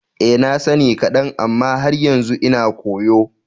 Eh, na sani kadan amma har yanzu ina koyo.